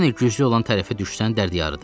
Yenə güclü olan tərəfə düşsən dərd yarıdır.